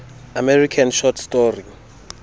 american short story